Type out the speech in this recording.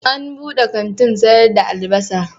An buɗe kantin sayar da albasa.